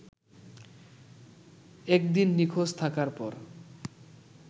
একদিন নিখোঁজ থাকার পর